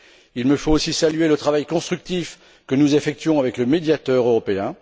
Je dois aussi saluer le travail constructif que nous réalisons avec le Médiateur européen.